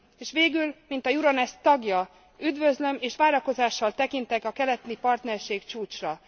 És végül, mint az Euronest tagja üdvözlöm és várakozással tekintek a keleti partnerség csúcsra.